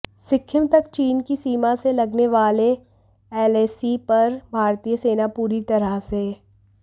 सिक्किम तक चीन की सीमा से लगने वाले एलएसी पर भारतीय सेना पूरी तरह से